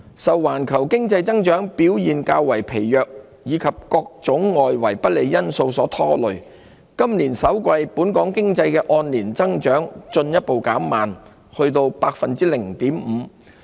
受環球經濟增長表現較為疲弱及各種外圍不利因素所拖累，本港經濟今年首季的按年增長進一步減慢至 0.5%。